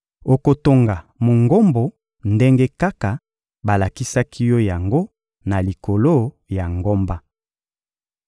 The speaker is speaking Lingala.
Okotonga Mongombo ndenge kaka balakisaki yo yango na likolo ya ngomba.